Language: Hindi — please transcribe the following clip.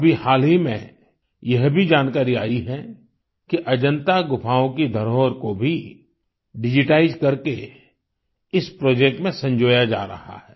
अभी हाल ही में यह भी जानकारी आयी है कि अजन्ता गुफाओं की धरोहर को भी डिजिटाइज करके इस प्रोजेक्ट में संजोया जा रहा है